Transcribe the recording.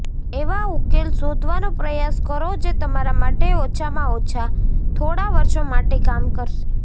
એવા ઉકેલ શોધવાનો પ્રયાસ કરો જે તમારા માટે ઓછામાં ઓછા થોડા વર્ષો માટે કામ કરશે